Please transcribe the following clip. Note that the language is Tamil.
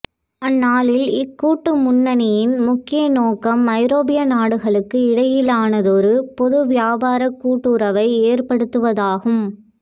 அந்நாளில் இக்கூட்டு முன்னணியின் முக்கிய நோக்கம் ஐரோப்பிய நாடுகளுக்கு இடையிலானதொரு பொது வியாபாரக் கூட்டுறவை ஏற்படுத்துவதாகும்